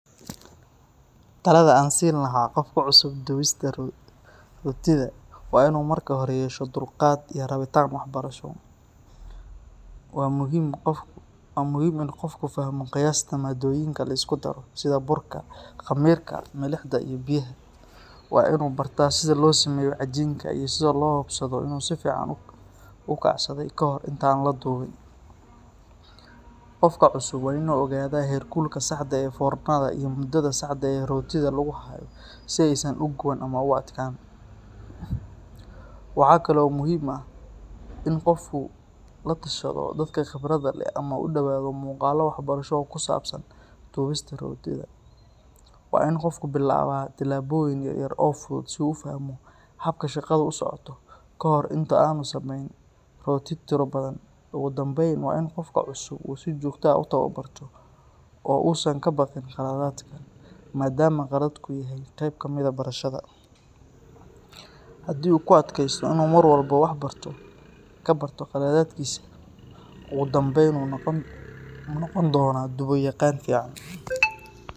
Talada aan siin lahaa qof ku cusub dubista rootida waa inuu marka hore yeesho dulqaad iyo rabitaan waxbarasho. Waa muhiim in qofku fahmo qiyaasta maaddooyinka la isku daro sida burka, khamiirka, milixda iyo biyaha. Waa in uu bartaa sida loo sameeyo cajiinka iyo sida loo hubsado inuu si fiican u kacsaday ka hor inta aan la dubin. Qofka cusub waa inuu ogaadaa heerkulka saxda ah ee foornada iyo muddada saxda ah ee rootida lagu hayo si aysan u guban ama u adkaan. Waxaa kale oo muhiim ah in qofku la tashado dadka khibradda leh ama uu daawado muuqaallo waxbarasho oo ku saabsan dubista rootida. Waa in qofku bilaabaa tijaabooyin yar yar oo fudud si uu u fahmo habka shaqadu u socoto ka hor inta aanu samayn rooti tiro badan. Ugu dambayn, waa in qofka cusub uu si joogto ah u tababarto oo uusan ka baqin khaladaadka, maadaama khaladku yahay qayb ka mid ah barashada. Haddii uu ku adkaysto oo uu mar walba wax ka barto khaladaadkiisa, ugu dambayn wuu noqon doonaa dubo yaqaan fiican.